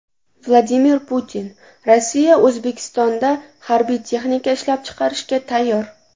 Vladimir Putin: Rossiya O‘zbekistonda harbiy texnika ishlab chiqarishga tayyor.